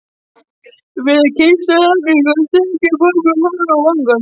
Við kistulagninguna strauk ég pabba um hárið og vangann.